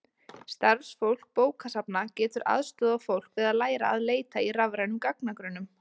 Starfsfólk bókasafna getur aðstoðað fólk við að læra að leita í rafrænum gagnagrunnum.